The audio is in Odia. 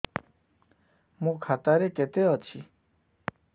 ମୋ ଖାତା ରେ କେତେ ଅଛି